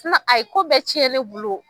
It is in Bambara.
a ye ko bɛɛ tiɲɛ ne bolo.